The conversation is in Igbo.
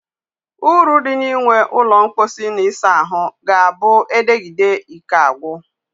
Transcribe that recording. Uru di na inwe ulo mposi na isa ahu ga-a bu edegide Ike agwu.